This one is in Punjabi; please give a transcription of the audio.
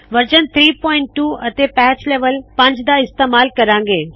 ਵਰਜ਼ਨ 32 ਅਤੇ ਪੈਚ ਲੈਵਲ 5 ਦਾ ਇਸਤੇਮਾਲ ਕਰਾੰ ਗੇ